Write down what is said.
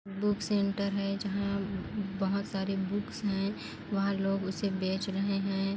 Book centre है जहाँ बहोत सारे बुक्स है वहाँ लोग उसे बेच रहे है।